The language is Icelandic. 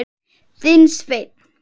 Þinn Sveinn.